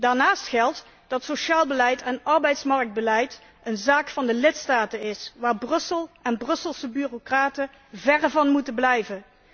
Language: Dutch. Daarnaast geldt dat sociaal beleid en arbeidsmarktbeleid een zaak van de lidstaten is waar Brussel en Brusselse bureaucraten verre van moeten blijven.